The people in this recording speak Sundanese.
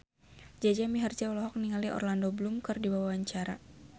Jaja Mihardja olohok ningali Orlando Bloom keur diwawancara